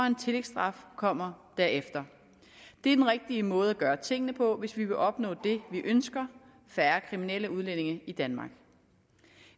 en tillægsstraf kommer derefter det er den rigtige måde at gøre tingene på hvis vi vil opnå det vi ønsker færre kriminelle udlændinge i danmark